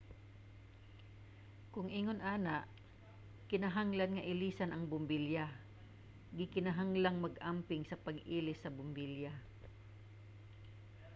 kon ingon ana kinahanglan nga ilisan ang bombilya. gikinahanglang mag-amping sa pag-ilis sa bombilya